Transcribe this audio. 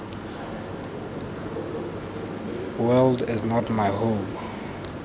world is not my home